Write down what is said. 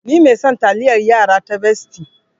Ni mai son taliayar yara ta Bestie.